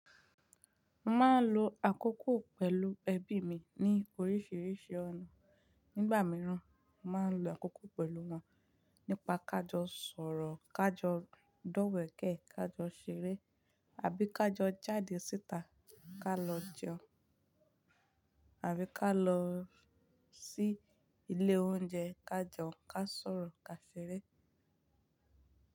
Máa lo àkókò pẹ̀lú ẹbí mi ní oríṣìíríṣìí ọ̀nà. Nígbà mìíràn, màá n lo àkókò pẹ̀lú wọn nípa ká jọ sọ̀rọ̀, ká jọ dọ̀wẹ̀kẹ̀, ká jọ ṣeré àbí ká jọ jáde síta, ká lọ jẹun, àbí ká lọ sí ilé oúnjẹ, ká jẹun, ká sọ̀rọ̀, ká ṣeré.